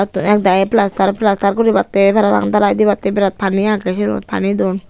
ek dagi plaster plaster guribatte parapang dalai dibatte birat pani aage sinot pani don.